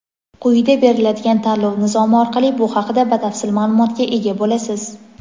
Quyida beriladigan tanlov nizomi orqali bu haqida batafsil ma’lumotga ega bo‘lasiz.